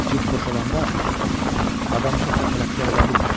Cib boş olanda adam çox da tələbkar ola bilmir.